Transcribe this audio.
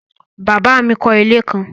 Bàbá mi kọ́ ilé kan